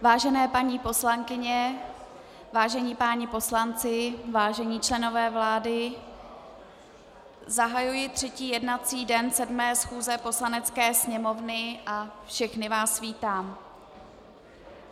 Vážené paní poslankyně, vážení páni poslanci, vážení členové vlády, zahajuji třetí jednací den sedmé schůze Poslanecké sněmovny a všechny vás vítám.